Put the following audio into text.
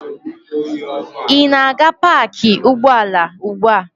Ị na-aga paakị ụgbọala ugbu a?